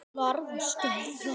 Hann varð að stöðva.